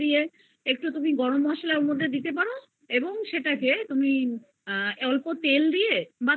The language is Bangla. মসলা ওর মধ্যে দিতে পারো এবং সেটাকে তুমি অল্প তেল দিয়ে বা তুমি